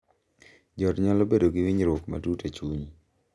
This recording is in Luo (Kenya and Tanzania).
Jo ot nyalo bedo gi winjruok matut e chuny